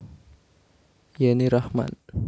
Yenny Rachman